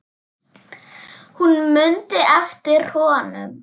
Hún mundi eftir honum.